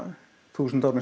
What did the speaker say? þúsund árum